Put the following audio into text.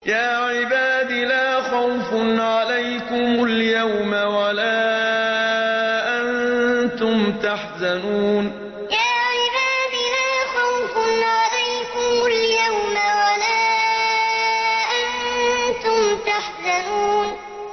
يَا عِبَادِ لَا خَوْفٌ عَلَيْكُمُ الْيَوْمَ وَلَا أَنتُمْ تَحْزَنُونَ يَا عِبَادِ لَا خَوْفٌ عَلَيْكُمُ الْيَوْمَ وَلَا أَنتُمْ تَحْزَنُونَ